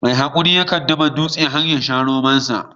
Mai haƙuri yakan dafa dutse har yasha romon sa